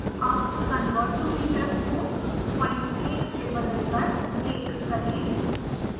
अब convert to meters को point 1 से बदलकर 1 करें